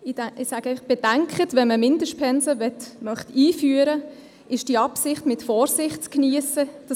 Ich möchte zu bedenken geben, dass die Einführung von Mindestpensen mit Vorsicht zu geniessen ist.